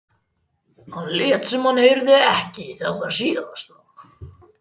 Hann lét sem hann heyrði ekki þetta síðasta.